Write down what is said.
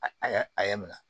A a y'a a y'a minɛ